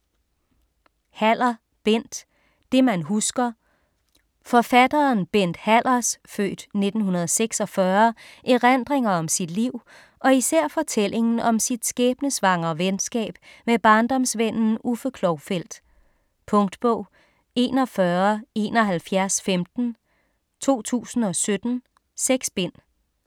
Haller, Bent: Det man husker Forfatteren Bent Hallers (f. 1946) erindringer om sit liv og især fortællingen om sit skæbnesvangre venskab med barndomsvennen Uffe Klovfeldt. Punktbog 417115 2017. 6 bind.